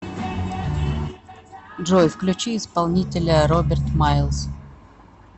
джой включи исполнителя роберт майлс